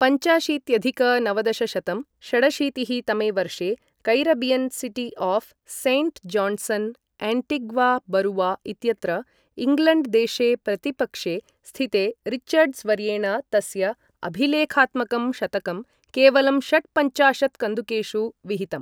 पञ्चाशीत्यधिक नवदशशतं षडशीतिः तमे वर्षे Caribbean city of saint Johnson, Antigua बरूवा इत्यत्र इङ्ग्लण्ड् देशे प्रतिपक्षे स्थिते रिचर्ड्स् वर्येण तस्य अभिलेखात्मकं शतकं केवलं षट्पञ्चाशत् कन्दुकेषु विहितम्।